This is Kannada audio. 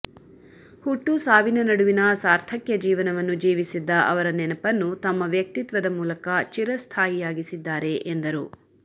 ಹುಟ್ಟು ಸಾವಿನ ನಡುವಿನ ಸಾರ್ಥಕ್ಯ ಜೀವನವನ್ನು ಜೀವಿಸಿದ್ದ ಅವರ ನೆನಪನ್ನು ತಮ್ಮ ವ್ಯಕ್ತಿತ್ವದ ಮೂಲಕ ಚಿರಸ್ಥಾಯಿಯಾಗಿಸಿದ್ದಾರೆ ಎಂದರು